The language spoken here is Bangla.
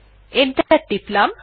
এন্টার টিপলাম